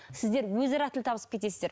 сіздер өзара ақ тіл табысып кетесіздер